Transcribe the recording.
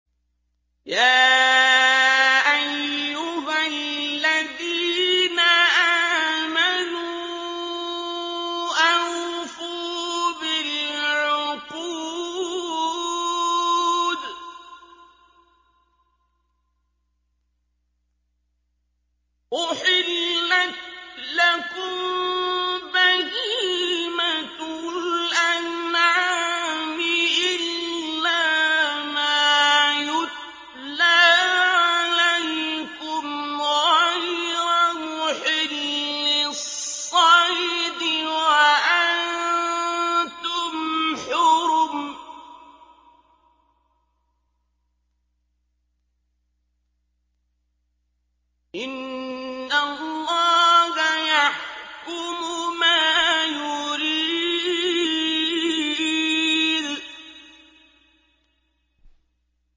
يَا أَيُّهَا الَّذِينَ آمَنُوا أَوْفُوا بِالْعُقُودِ ۚ أُحِلَّتْ لَكُم بَهِيمَةُ الْأَنْعَامِ إِلَّا مَا يُتْلَىٰ عَلَيْكُمْ غَيْرَ مُحِلِّي الصَّيْدِ وَأَنتُمْ حُرُمٌ ۗ إِنَّ اللَّهَ يَحْكُمُ مَا يُرِيدُ